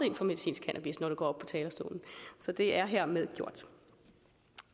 ind for medicinsk cannabis når du går op på talerstolen så det er hermed gjort